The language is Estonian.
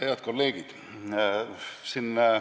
Head kolleegid!